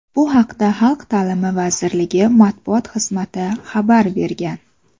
Bu haqda Xalq ta’limi vazirligi matbuot xizmati xabar bergan .